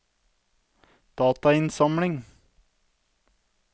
datainnsamling